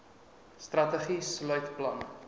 strategie sluit planne